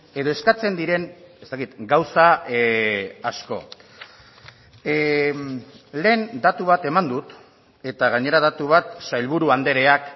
edo eskatzen diren ez dakit gauza asko lehen datu bat eman dut eta gainera datu bat sailburu andreak